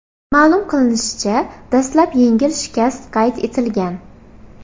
Ma’lum qilinishicha, dastlab yengil shikast qayd etilgan.